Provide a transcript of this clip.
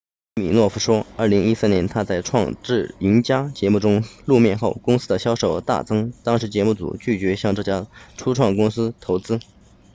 西米诺夫说2013年他在创智赢家节目中露面后公司的销售额大增当时节目组拒绝向这家初创公司投资